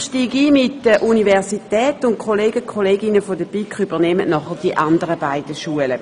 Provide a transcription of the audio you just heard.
Ich beginne mit der Universität Bern, und die Kolleginnen aus der BiK vertreten dann die Berichte der anderen beiden Schulen.